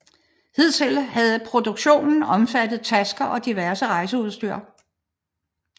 Hidtil havde produktionen omfattet tasker og diverse rejseudstyr